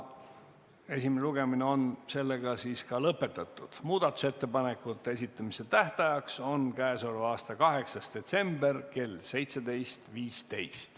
Esimene lugemine on sellega lõpetatud ja muudatusettepanekute esitamise tähtajaks on k.a 8. detsember kell 17.15.